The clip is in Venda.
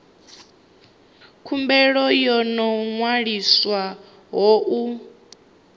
khumbelo yo no ṅwaliswaho u